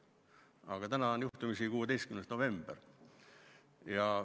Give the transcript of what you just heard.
Aga täna on juhtumisi 16. november.